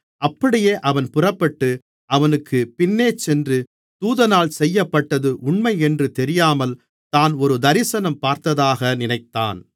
அப்படியே அவன் புறப்பட்டு அவனுக்குப் பின்னேசென்று தூதனால் செய்யப்பட்டது உண்மையென்று தெரியாமல் தான் ஒரு தரிசனம் பார்ப்பதாக நினைத்தான்